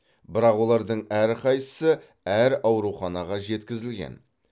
бірақ олардың әрқайсысы әр ауруханаға жеткізілген